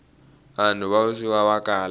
vanhu va vuswikoti va kala